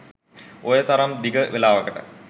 ඔය තරම් දිග වෙලාවකට.